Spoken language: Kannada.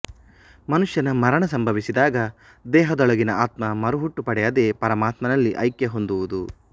ಮನುಷ್ಯನ ಮರಣ ಸಂಭವಿಸಿದಾಗ ದೇಹದೊಳಗಿನ ಆತ್ಮ ಮರುಹುಟ್ಟು ಪಡೆಯದೆ ಪರಮಾತ್ಮನಲ್ಲಿ ಐಕ್ಯ ಹೊಂದುವುದು